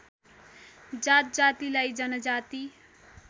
जातजातिलाई जनजाति